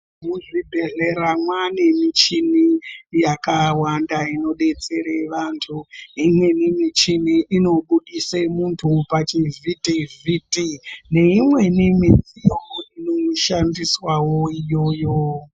Mwuzvibhehlera mwanemuchini yakawanda inodetsere vantu .Imweni michini unobudise muntu pachivhiti vhiti neimweni midziyo inoshandiswawo iyoyo.